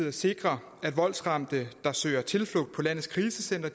at sikre at voldsramte der søger tilflugt på landets krisecentre